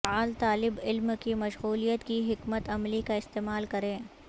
فعال طالب علم کی مشغولیت کی حکمت عملی کا استعمال کریں